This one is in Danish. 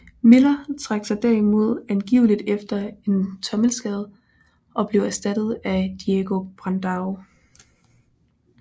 Miller trak sig derimod angiveligt efter en tommelskade og blev erstattet af Diego Brandão